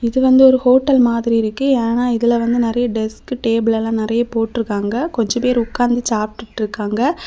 இது வந்தது ஒரு ஹோட்டல் மாதிரி இருக்கு யேனா இதுல வந்து நரிய டிஸ்க் டேபிள் லம் நெறிய போட்டு இருக்கா கொஞ்சம் பேரு உகந்து சாப்பிட்டு இருக்கா.